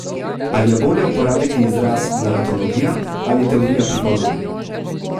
Ali je bolje uporabiti izraz naratologija ali teorija pripovedi?